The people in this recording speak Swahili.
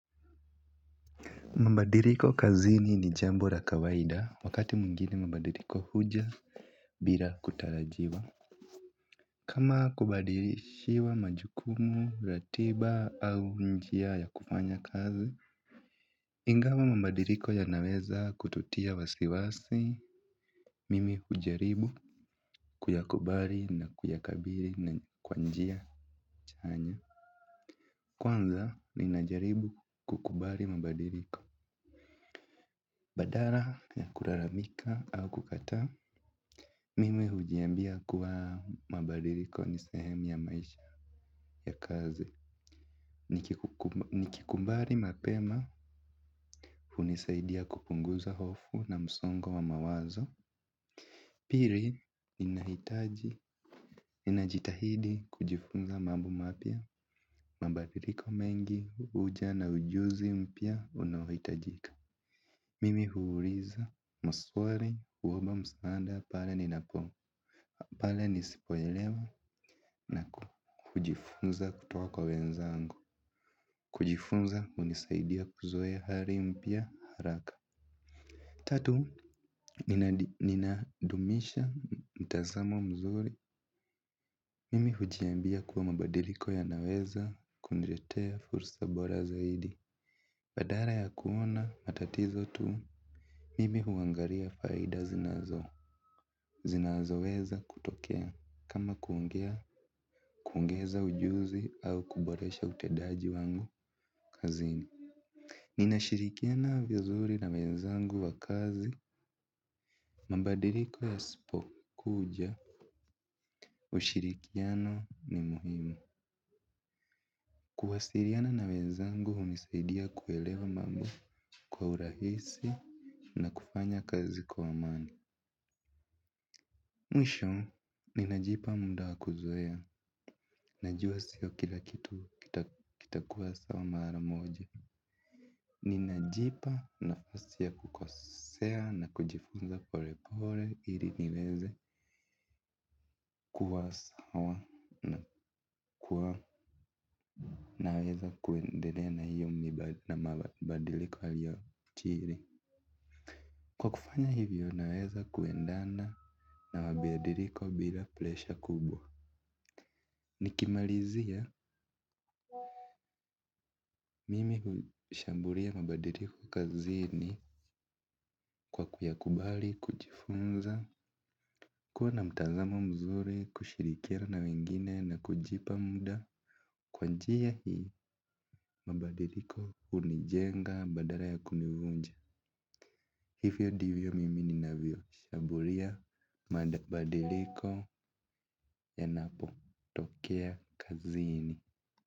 Mabadiriko kazini ni jambo ra kawaida wakati muingine mabadiriko huja bila kutarajiwa. Kama kubadirishiwa majukumu, ratiba au njia ya kufanya kazi, ingawa mambadiriko yanaweza kututia wasiwasi, mimi hujaribu, kuyakubari na kuyakabiri na kwa njia chanya. Kwanza, ninajaribu kukubari mambadiriko. Badara ya kuraramika au kukata. Mimi hujiambia kuwa mabariko nisehemu ya maisha ya kazi. Nikikumbari mapema unisaidia kupunguza hofu na msongo wa mawazo. Piri inahitaji ninajitahidi kujifunza mambo mapia. Mabadiliko mengi huja na ujuzi mpya unaohitajika. Mimi huuliza maswali kuomba msaanda pale ninapo pale nisipoelewa na kujifunza kutoka kwa wenzangu. Kujifunza hunisaidia kuzoea hali mpya haraka. Tatu, ninadumisha mtazamo mzuri. Mimi hujiambia kuwa mabadiliko yanaweza kuniletea fursa bora zaidi. Badala ya kuona matatizo tu. Mimi huangalia faida zinazo zinazo weza kutokea. Kama kuongea, kuongeza ujuzi au kuboresha utedaji wangu kazini. Ninashirikiana vizuri na wenzangu wa kazi. Mabadiliko yasipokuja ushirikiano ni muhimu. Kuwasiriana na wenzangu hunisaidia kuelewa mambo kwa urahisi na kufanya kazi kwa amani. Mwisho, ninajipa munda wakuzoea, najua sio kila kitu kitakuwa sawa mara moja. Ninajipa nafasia ya kukosea na kujifunza pole pole ili niweze kuwasawa na kuwa naweza kuendene na hio na mabadiliko alio chini. Kwa kufanya hivyo naweza kuendana na mabadiliko bila plesha kubwa. Nikimalizia mimi hushambulia mabadiliko kazini. Kwa kuyakubali, kujifunza, kuwa na mtazama mzuri, kushirikia na wengine na kujipa muda. Kwa njia hii mabadiliko hunijenga badala ya kunivunja. Hivyo divyo mimi ninavyo shamburia mabadiliko yanapo tokea kazini.